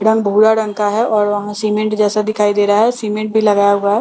रंग भूरा रंग का है और वहां सीमेंट जैसा दिखाई दे रहा है सीमेंट भी लगाया हुआ है और नेट --